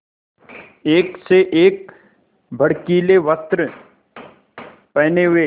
एक से एक भड़कीले वस्त्र पहने हुए